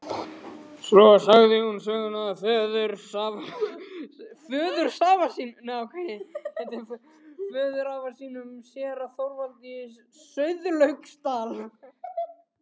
Svo sagði hún söguna af föðurafa sínum, séra Þorvaldi í Sauðlauksdal.